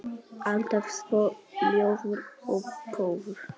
Alltaf svo ljúfur og góður.